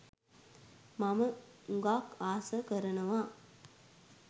මං හුඟක් ආසා කරනවා